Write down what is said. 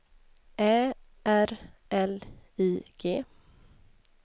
Ä R L I G